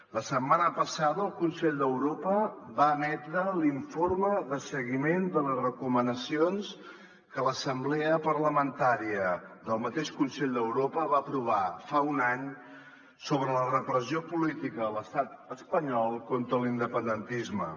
la setmana passada el consell d’europa va emetre l’informe de seguiment de les recomanacions que l’assemblea parlamentària del mateix consell d’europa va aprovar fa un any sobre la repressió política de l’estat espanyol contra l’independentisme